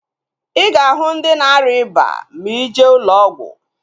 I ga-ahu ndị na-arịa ịba ma ije ụlọ ọgwụ